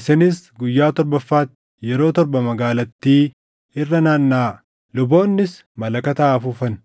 Isinis guyyaa torbaffaatti yeroo torba magaalattii irra nanaannaʼaa; luboonnis malakata haa afuufan.